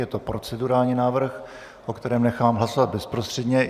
Je to procedurální návrh, o kterém nechám hlasovat bezprostředně.